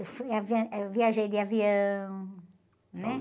Eu fui, avião, eh, eu viajei de avião, né?